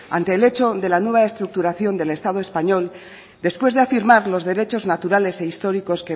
ante el hecho de la nueva estructuración del estado español después de afirmar los derechos naturales e históricos